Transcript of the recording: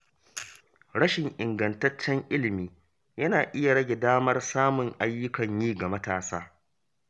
Rashin ingantaccen ilimi yana iya rage damar samun ayyukan yi ga matasa.